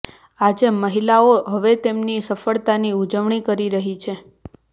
આજે મહિલાઓ હવે તેમની સફળતાની ઊજવણી કરી રહી છે